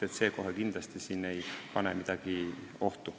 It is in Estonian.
See eelnõu ei sea siin kohe kindlasti midagi ohtu.